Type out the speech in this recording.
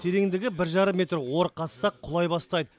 тереңдігі бір жарым метр ор қазсақ құлай бастайды